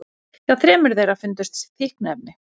Hjá þremur þeirra fundust fíkniefni